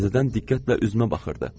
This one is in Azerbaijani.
Təzədən diqqətlə üzümə baxırdı.